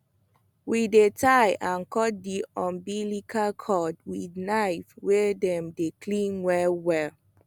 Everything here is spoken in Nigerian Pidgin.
we dey tie and cut the umbilical cord with knife wey dem clean well well